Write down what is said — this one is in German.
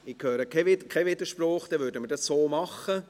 – Ich höre keinen Widerspruch, dann würden wir dies so machen.